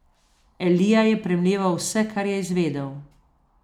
Elija je premleval vse, kar je izvedel.